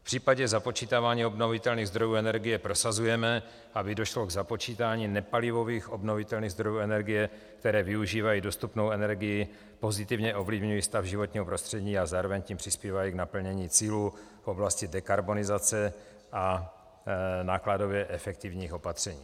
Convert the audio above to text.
V případě započítávání obnovitelných zdrojů energie prosazujeme, aby došlo k započítání nepalivových obnovitelných zdrojů energie, které využívají dostupnou energii, pozitivně ovlivňují stav životního prostředí a zároveň tím přispívají k naplnění cílů v oblasti dekarbonizace a nákladově efektivních opatření.